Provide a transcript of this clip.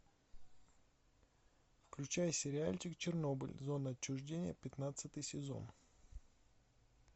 включай сериальчик чернобыль зона отчуждения пятнадцатый сезон